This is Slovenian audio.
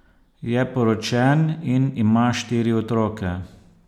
Je poročen in ima štiri otroke.